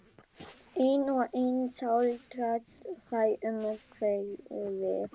Einn og einn sáldrast þeir um hverfið.